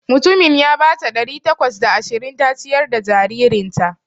Mutumin ya bata ɗari takwas da ashirin ta ciyar da jaririnta.